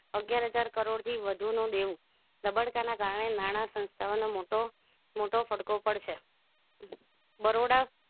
અગ્યાર હજાર કરોડ થી વધુ નું દેવું ધબડકાને કારણે નાણાં સંસ્થાઓ નો મોટો મોટો પડગો પડશે બરોડા